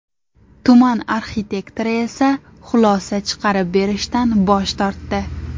Tuman arxitektori esa xulosa chiqarib berishdan bosh tortdi.